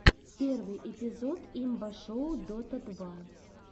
первый эпизод имба шоу дота два